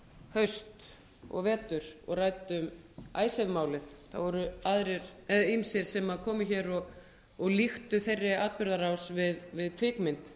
sumar og vetur og ræddum icesave málið þá voru ýmsir sem komu hér og líktu þeirri atburðarás við kvikmynd